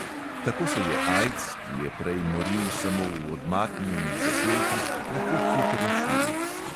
Tako se je aids, ki je prej moril samo v odmaknjenih zaselkih, lahko hitro širil.